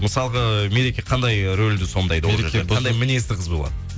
мысалға мереке қандай рөлді сомдайды қандай мінезді қыз болады